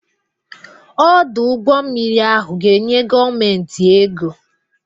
Ọdụ ụgbọ mmiri ahụ ga-enye gọọmentị ego.